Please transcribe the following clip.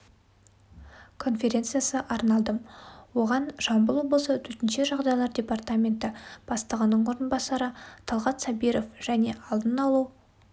конференциясы арналды оған жамбыл облысы төтенше жағдайлар департаменті бастығының орынбасары талғат сабиров және алдын алу